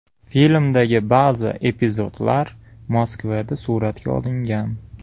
Filmdagi ba’zi epizodlar Moskvada suratga olingan.